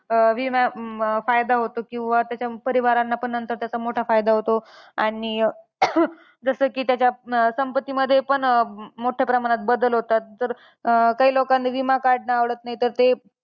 अं विमा अं फायदा होतो किंवा त्याच्या परिवारांना पण नंतर त्याचा मोठा फायदा होतो. आणि जसं की, अं त्याच्या संपत्तीमध्ये पण मोठ्या प्रमाणात बदल होतात. तर काही लोकांना विमा काढणं आवडत नाही, तर ते